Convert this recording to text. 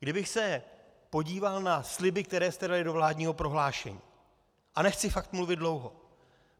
Kdybych se podíval na sliby, které jste dali do vládního prohlášení - a nechci fakt mluvit dlouho.